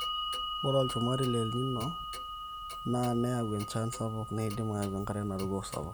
ore olchumati le El Nino neyau enchan sapuk neidim eyau enkare naruko sapuk